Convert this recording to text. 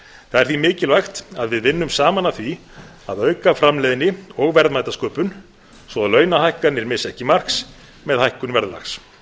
því mikilvægt að við vinnum saman að því að auka framleiðni og verðmætasköpun svo launahækkanir missi ekki marks með hækkun verðlags